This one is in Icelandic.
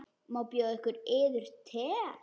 Má bjóða yður te?